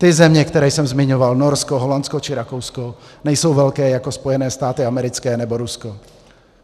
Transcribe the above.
Ty země, které jsem zmiňoval, Norsko, Holandsko či Rakousko, nejsou velké jako Spojené státy americké nebo Rusko.